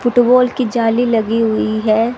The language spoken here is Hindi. फुटबॉल की जाली लगी हुई है।